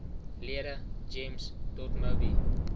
lede gems dotmobi